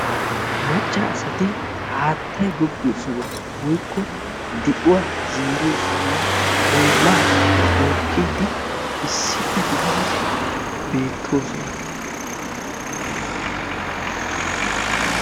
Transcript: Macca asati haattay goggiyo sohuwa woykko di'uwa zeeriyo sohuwa ollaa bookidi issippe gididi beettoosona.